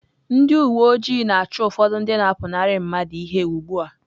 Ndị uwe ojii na-achụ ụfọdụ ndị na-apụnara mmadụ ihe ugbu a